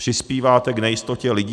Přispíváte k nejistotě lidí.